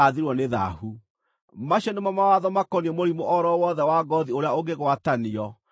Macio nĩmo mawatho makoniĩ mũrimũ o ro wothe wa ngoothi ũrĩa ũngĩgwatanio, na ũhere,